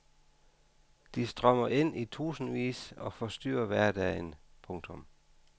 De strømmer ind i tusindvis og forstyrrer hverdagen. punktum